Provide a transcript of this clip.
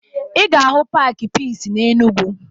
Ị ga-ahụ paakị Piisi n'Enugwu